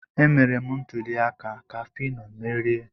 Emere m ntuli aka ka Fino merie.